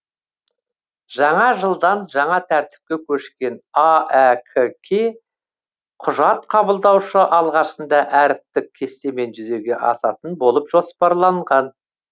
жаңа жылдан жаңа тәртіпке көшкен аәк ке құжат қабылдаушы алғашында әріптік кестемен жүзеге асатын болып жоспарланған